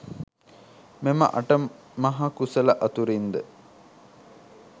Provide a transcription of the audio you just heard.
මෙම අට මහ කුසල අතුරින් ද,